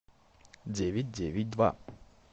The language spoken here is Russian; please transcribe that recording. девять девять два